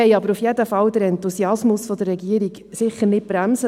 Jedenfalls wollen wir wollen aber den Enthusiasmus der Regierung nicht bremsen.